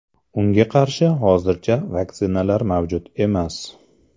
Unga qarshi hozircha vaksinalar mavjud emas.